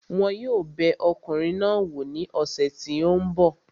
Wọn yóò bẹ ọkùnrin náà wò ní ọ̀sẹ̀ tí ó ń bọ̀